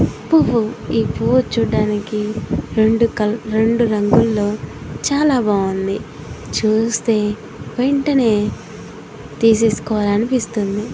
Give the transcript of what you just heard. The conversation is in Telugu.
పువ్వు ఈ పువ్వు చూడడానికి రెండు కల్ రెండు రంగుల్లో చాలా బాగుందిచూస్తే వెంటనే తీసేసుకోవాలి అనిపిస్తుంది.